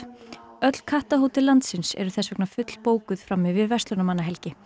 öll kattahótel landsins eru þess vegna fullbókuð fram yfir verslunarmannahelgi